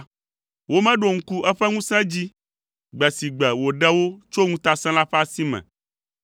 Womeɖo ŋku eƒe ŋusẽ dzi, gbe si gbe wòɖe wo tso ŋutasẽla ƒe asi me,